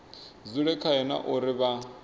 dzule khayo na uri vha